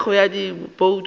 ka thekgo ya dibouto tša